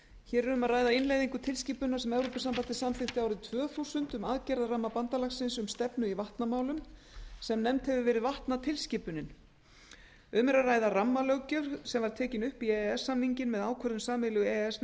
hér er um að ræða innleiðingu tilskipunar sem evrópusambandið samþykkti árið tvö þúsund um aðgerðaramma bandalagsins um stefnu í vatnamálum sem nefnd hefur verið vatnaskipunin um er að ræða rammalöggjöf sem var tekin upp í e e s samninginn með ákvörðun sameiginlegu e e s